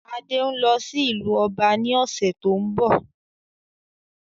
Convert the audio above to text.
Adé ń lọ sí ìlú ọba ní ọ̀sẹ̀ tó ń bọ̀